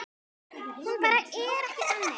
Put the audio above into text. Hún bara er ekki þannig.